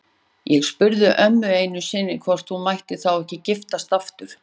Ég spurði ömmu einu sinni hvort hún mætti þá ekki giftast aftur.